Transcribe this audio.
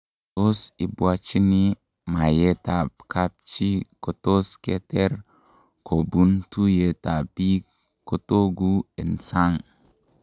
Tos, ibwachinii mayeet ab kabchi kotos keter kobuun tuyeet ab biik kotokuu en sang